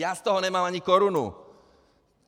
Já z toho nemám ani korunu.